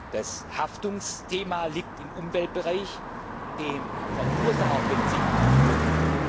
Das Haftungsthema liegt im Umweltbereich dem Verursacherprinzip zugrunde.